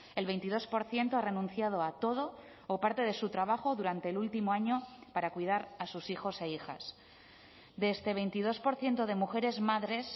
el veintidós por ciento ha renunciado a todo o parte de su trabajo durante el último año para cuidar a sus hijos e hijas de este veintidós por ciento de mujeres madres